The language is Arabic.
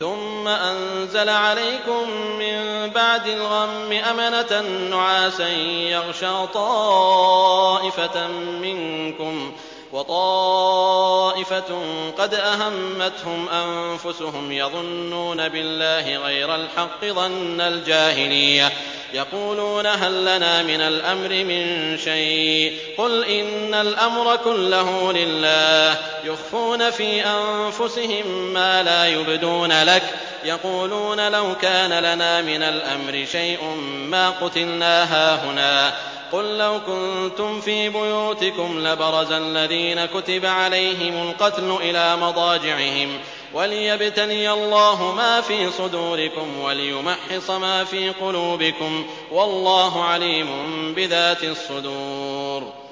ثُمَّ أَنزَلَ عَلَيْكُم مِّن بَعْدِ الْغَمِّ أَمَنَةً نُّعَاسًا يَغْشَىٰ طَائِفَةً مِّنكُمْ ۖ وَطَائِفَةٌ قَدْ أَهَمَّتْهُمْ أَنفُسُهُمْ يَظُنُّونَ بِاللَّهِ غَيْرَ الْحَقِّ ظَنَّ الْجَاهِلِيَّةِ ۖ يَقُولُونَ هَل لَّنَا مِنَ الْأَمْرِ مِن شَيْءٍ ۗ قُلْ إِنَّ الْأَمْرَ كُلَّهُ لِلَّهِ ۗ يُخْفُونَ فِي أَنفُسِهِم مَّا لَا يُبْدُونَ لَكَ ۖ يَقُولُونَ لَوْ كَانَ لَنَا مِنَ الْأَمْرِ شَيْءٌ مَّا قُتِلْنَا هَاهُنَا ۗ قُل لَّوْ كُنتُمْ فِي بُيُوتِكُمْ لَبَرَزَ الَّذِينَ كُتِبَ عَلَيْهِمُ الْقَتْلُ إِلَىٰ مَضَاجِعِهِمْ ۖ وَلِيَبْتَلِيَ اللَّهُ مَا فِي صُدُورِكُمْ وَلِيُمَحِّصَ مَا فِي قُلُوبِكُمْ ۗ وَاللَّهُ عَلِيمٌ بِذَاتِ الصُّدُورِ